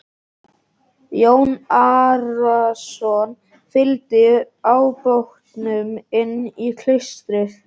Jón Arason fygldi ábótanum inn í klaustrið.